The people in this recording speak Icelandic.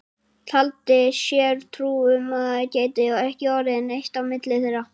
Taldi sér trú um að það gæti ekki orðið neitt á milli þeirra.